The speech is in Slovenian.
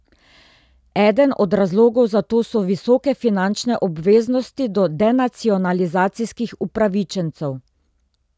Eden od razlogov za to so visoke finančne obveznosti do denacionalizacijskih upravičencev.